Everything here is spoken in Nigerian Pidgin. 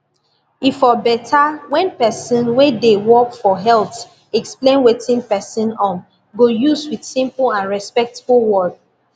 e for better when person way dey work for health explain wetin person um go use with simple and respectful word